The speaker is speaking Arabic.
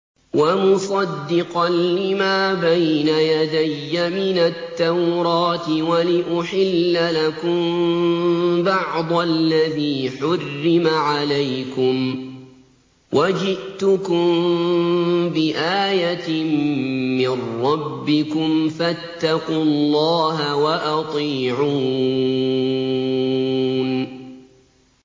وَمُصَدِّقًا لِّمَا بَيْنَ يَدَيَّ مِنَ التَّوْرَاةِ وَلِأُحِلَّ لَكُم بَعْضَ الَّذِي حُرِّمَ عَلَيْكُمْ ۚ وَجِئْتُكُم بِآيَةٍ مِّن رَّبِّكُمْ فَاتَّقُوا اللَّهَ وَأَطِيعُونِ